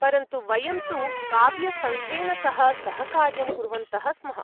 परन्तु, वयं तु काव्यसङ्घेन सह सहकार्यं कुर्वन्तः स्मः।